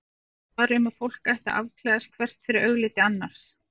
Það var um að fólk ætti að afklæðast hvert fyrir augliti annars.